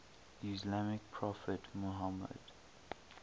islamic prophet muhammad